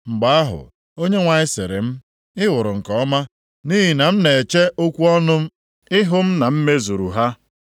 Mgbe ahụ, Onyenwe anyị sịrị m, “Ị hụrụ nke ọma, nʼihi na m na-eche okwu ọnụ ịhụ m na m mezuru ha.”